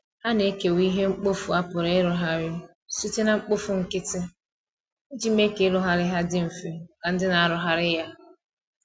ha na ekewa ihe mkpọfụ a pụrụ irụghari site na mkpofụ nkiti ijii mee ka irughari ha ndi mfe maka ndi na arughari ya